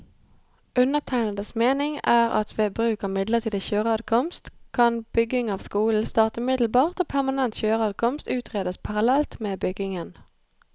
Undertegnedes mening er at ved bruk av midlertidig kjøreadkomst, kan bygging av skolen starte umiddelbart og permanent kjøreadkomst utredes parallelt med byggingen.